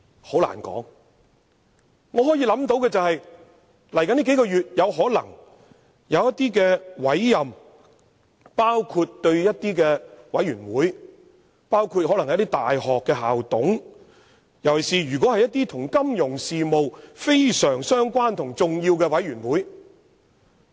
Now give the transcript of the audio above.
很難說，但我可以想到，在未來數個月，他可能還會作出一些委任，包括某些委員會成員、大學校董，尤其是一些與金融事務非常相關的重要委員會。